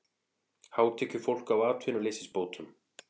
Hátekjufólk á atvinnuleysisbótum